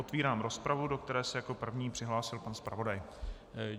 Otvírám rozpravu, do které se jako první přihlásil pan zpravodaj.